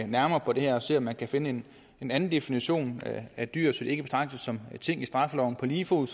nærmere på det her og se om man kan finde en anden definition af dyr så de ikke betragtes som ting i straffeloven på lige fod